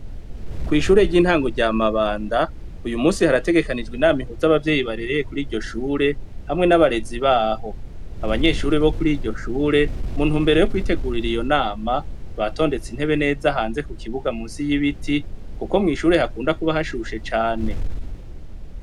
Kwishure ryintango rya Mabanda uyu munsi harategekanijwe inama ihuza abavyeyi barera kuriryo shure hamwe n'abarezi baho, abanyeshuri bo kuriryo shure muntumbero yo kwitegurira iyo nama batondetse intebe neza hanze ku kibuga munsi y'ibiti kuko mwishure hakunda kuba hashushe cane.